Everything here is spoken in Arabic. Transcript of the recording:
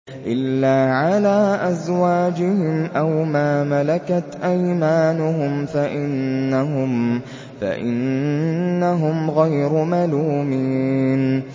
إِلَّا عَلَىٰ أَزْوَاجِهِمْ أَوْ مَا مَلَكَتْ أَيْمَانُهُمْ فَإِنَّهُمْ غَيْرُ مَلُومِينَ